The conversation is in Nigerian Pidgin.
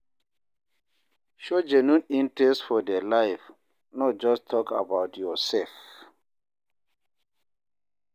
Show genuine interest for their life, no just talk about yourself.